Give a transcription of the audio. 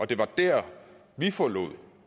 det var der vi forlod